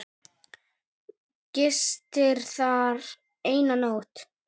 Gisti þar eina nótt.